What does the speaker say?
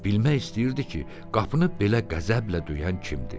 Bilmək istəyirdi ki, qapını belə qəzəblə döyən kimdir?